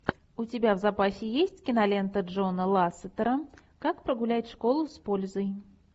у тебя в запасе есть кинолента джона лассетера как прогулять школу с пользой